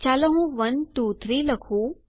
ચાલો હું 123 લખું